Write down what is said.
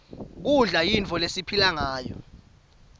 kudla yinto lesiphilangayo